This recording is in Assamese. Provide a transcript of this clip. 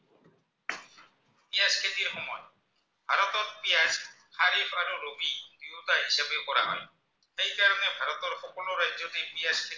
খেতি কৰা হয়, সেই কাৰণে ভাৰতৰ সকলো ৰাজ্য়তে পিঁয়াজ